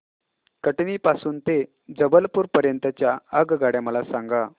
कटनी पासून ते जबलपूर पर्यंत च्या आगगाड्या मला सांगा